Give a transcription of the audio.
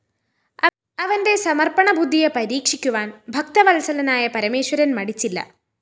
അവന്റെ സമര്‍പ്പണബുദ്ധിയെ പരീക്ഷിക്കുവാന്‍ ഭക്തവത്സലനായ പരമേശ്വരന്‍ മടിച്ചില്ല